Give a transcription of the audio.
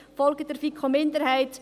Folgen Sie der FiKo-Minderheit.